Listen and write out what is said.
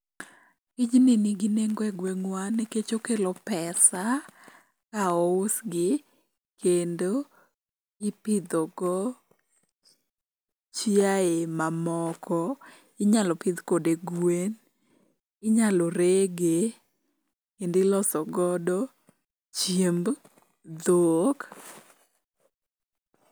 Tijni nigi nengo e gweng'wa nikech okelo pesa ka ousgi, kendo ipidhogo chiaye mamoko. Inyalo pidh kode gwen, inyalo rege kendo iloso godo chiemb dhok.